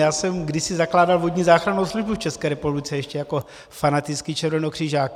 Já jsem kdysi zakládal vodní záchrannou službu v České republice ještě jako fanatický červenokřižák.